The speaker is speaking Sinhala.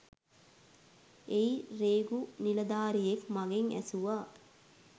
එහි රේගුª නිලධාරියෙක් මගෙන් ඇසුවා